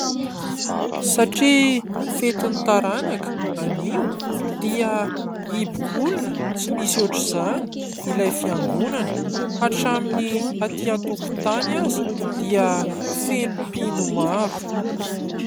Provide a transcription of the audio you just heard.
Satria fetin'ny taranaka anio dia ipok'olona tsy misy ohatr'izany ilay fiangonana, hatramin'ny aty an-tokotany ary dia feno mpino maro.